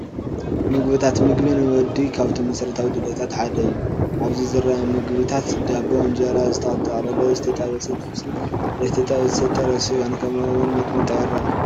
ምግብታት፡- ምግቢ ንወዲ ካብቶም መሰረታዊ ድልየታት ሓደ እዩ፡፡ ኣብዚ ዝረአ ምግብታት ዳቦ፣ እንጀራ ዝተጠቕለለ፣ ዝተጠበሰ ጥብስን ዘይተጠበሰ ጥረ ስጋን ከምኡ ውን ሚስሚጣ ይረአ፡፡